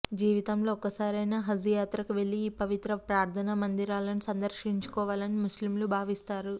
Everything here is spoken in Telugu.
జీవితంలో ఒక్కసారైనా హజ్ యాత్రకు వెళ్లి ఈ పవిత్ర ప్రార్థనా మందిరాలను సందర్శించుకోవాలని ముస్లింలు భావిస్తారు